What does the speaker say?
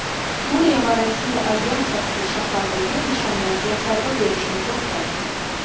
Suriya va Rossiya aviatsiyasi shahardagi nishonlarga zarba berishni to‘xtatdi.